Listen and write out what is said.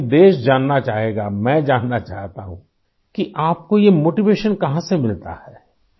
لیکن ملک جاننا چاہے گا ، میں جاننا چاہتا ہوں کہ آپ کو یہ حوصلہ کہاں سے ملتی ہے ؟